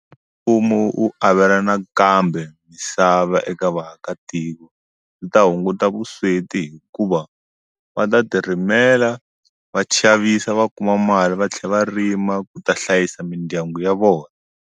Mfumo u avelana kambe misava eka vaakatiko ndzi ta hunguta vusweti hikuva va ta ti rimelela va xavisa va kuma mali va tlhela va rima ku ta hlayisa mindyangu ya vona.